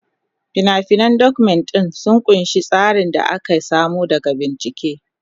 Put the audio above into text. Fina-finan Document ɗin sun ƙunshi tsarin da aka samo daga bincike.